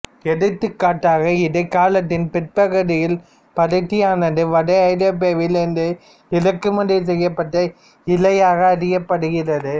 எடுத்துக்காட்டாக இடைக்காலத்தின் பிற்பகுதியில் பருத்தியானது வட ஐரோப்பாவில் இருந்து இறக்குமதி செய்யப்பட்ட இழையாக அறியப்படுகிறது